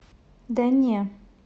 да не